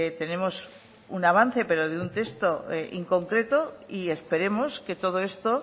tenemos un avance pero de un texto inconcreto y esperemos que todo esto